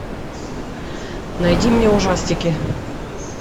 найди мне ужастики